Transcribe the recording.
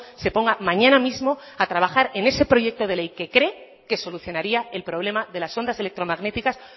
se ponga mañana mismo a trabajar en ese proyecto de ley que cree que solucionaría el problema de las ondas electromagnéticas